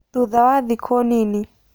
Thutha wa thikũ nini.